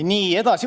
Nii, edasi.